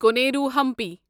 Koneru Hampi